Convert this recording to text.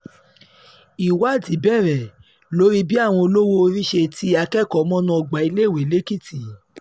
ìwádìí bẹ̀rẹ̀ lórí bí àwọn olówó-orí ṣe ti akẹ́kọ̀ọ́ mọnú ọgbà iléèwé lẹ́kìtì